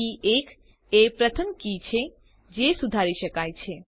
કે 1 એ પ્રથમ કી છે જે સુધારી શકાય છે